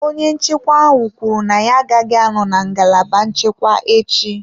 Onye nchekwa ahụ kwuru na ya agaghị anọ na ngalaba nchekwa echi.